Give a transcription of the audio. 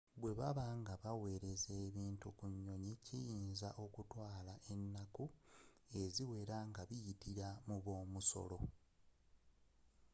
bwebaba nga baweleza ebintu ku nyonyi kiyinza okutwala enaku eziwela nga ziyitila mu b'omusolo